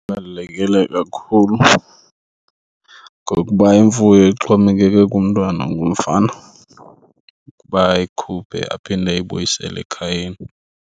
Ibalulekile kakhulu ngokuba imfuyo ixhomekeke kumntwana ongumfana ukuba ayikhuphe aphinde ayibuyisele ekhayeni.